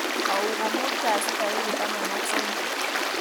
Au ko muut kasi tarik taman ak somok